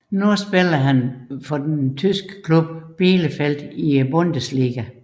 Han spiller nu for den tyske klub Bielefeld i Bundesligaen